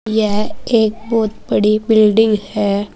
यह एक बोहोत बड़ी बिल्डिंग है।